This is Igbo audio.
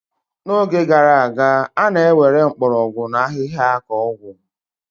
N'oge gara aga, a na-ewere mgbọrọgwụ na ahịhịa ka ọgwụ.